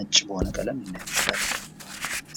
ነጭ በሆነ ቀለም ልናየው እንችላለን።